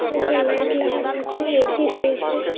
অনেকগুলো লাইট লাগানো আছে এ_ছি রয়েছে।